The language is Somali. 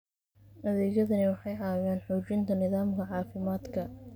Adeegyadani waxay caawiyaan xoojinta nidaamka caafimaadka.